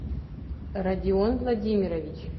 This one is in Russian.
радион владимирович